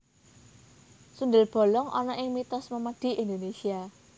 Sundel bolong ana ing mitos memedi Indonesia